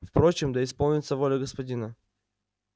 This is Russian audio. впрочем да исполнится воля господина